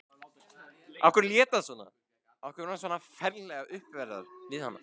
Af hverju lét hann svona, af hverju var hann svona ferlega uppveðraður við hana?